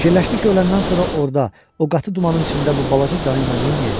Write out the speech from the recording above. Fikirləşdi ki, öləndən sonra orda o qatı dumanın içində bu balaca canı ilə neyləyəcək?